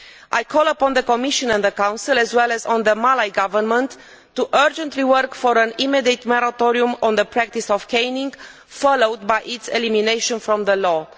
I call upon the Commission and the Council, as well as on the Malay Government, to urgently work for an immediate moratorium on the practice of caning, followed by its elimination from the law.